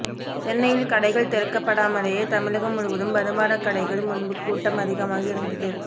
சென்னையில் கடைகள் திறக்கப்படாமலேயே தமிழகம் முழுவதும் மதுபான கடைகள் முன்பு கூட்டம் அதிகமாக இருந்தது